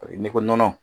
N'i ko nɔnɔ